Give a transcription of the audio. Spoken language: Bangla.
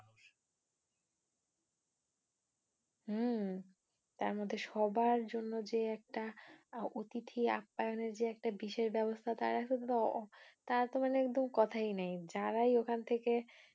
হম তার মধ্যে সবার জন্য যে একটা অতিথি আপ্পায়নের যে একটা বিশেষ ব্যবস্থা তার তো মানে একদম কথাই নেই, যারাই ঐখান থেকে